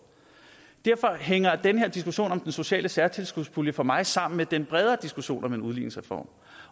derfor hænger den her diskussion om den sociale særtilskudspulje for mig sammen med den bredere diskussion om en udligningsreform